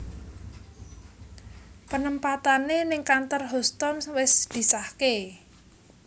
Penempatane ning kantor Houstoun wis disahke